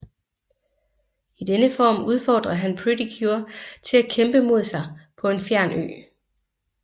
I denne form udfordrer han Pretty cure til at kæmpe mod sig på en fjern ø